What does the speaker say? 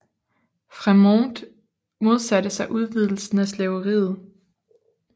Frémont modsatte sig udvidelsen af slaveriet